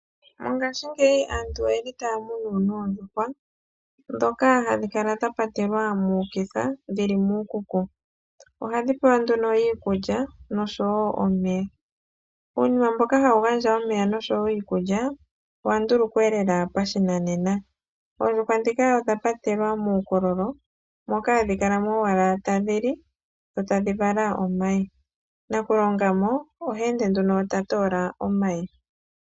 Mongaashingeyi aantu oye li taya munu oondjuhwa ndhoka hadhi kala dha patelwa muukuku. Ohadhi pewa iikulya noshowo omeya. Uunima mboka hawu tulwa iikulya nomeya owa ndulukwa lela pashinanena. Oondjuhwa ndhika odha patelwa muukololo moka hadhi kala mo tadhi li dho tadhi vala omayi. Nakulonga mo oha ende ta toola mo omayi.